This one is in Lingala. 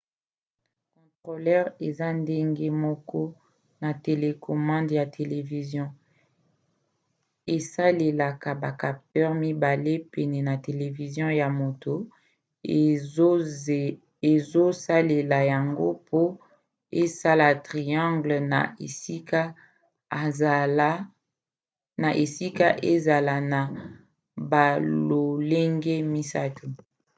controleur eza ndenge moko na télécommande ya televizio; esalelaka ba capteurs mibale pene ya televizio ya moto azosalela yango po esala triangle na esika ezala na balolenge misato